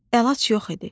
Əlac yox idi.